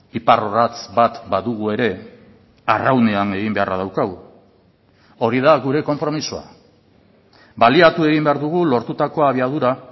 iparrorratz bat badugu ere arraunean egin beharra daukagu hori da gure konpromisoa baliatu egin behar dugu lortutako abiadura